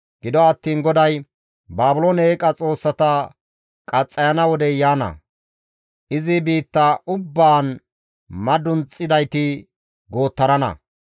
Gido attiin GODAY, «Baabiloone eeqa xoossata qaxxayana wodey yaana; izi biitta ubbaan madunxidayti goottarana.